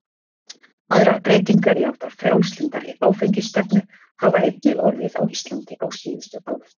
Aðrar breytingar í átt að frjálslyndari áfengisstefnu hafa einnig orðið á Íslandi á síðustu árum.